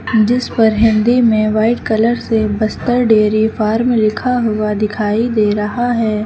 जिस पर हिंदी में व्हाइट कलर से बस्तर डेरी फार्म लिखा हुआ दिखाई दे रहा है।